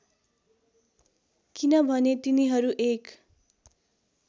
किनभने तिनीहरू एक